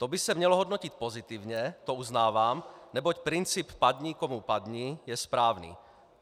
To by se mělo hodnotit pozitivně, to uznávám, neboť princip padni komu padni je správný.